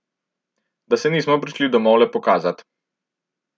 Da se nismo prišli domov le pokazati.